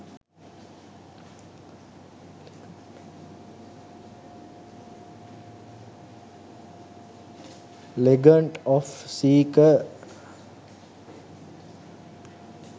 legant of seekar